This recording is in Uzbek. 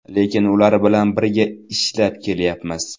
Lekin ular bilan birga ishlab kelyapmiz.